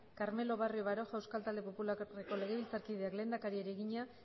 carmelo barrio baroja euskal talde popularreko legebiltzarkideak lehendakariari egina